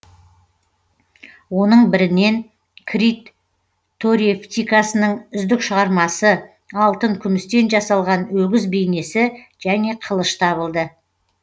оның бірінен крит торевтикасының үздік шығармасы алтын күмістен жасалған өгіз бейнесі және қылыш табылды